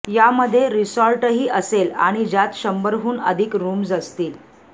यामध्ये रिसॉर्टही असेल आणि ज्यात शंभरहून अधिक रुम्स असतील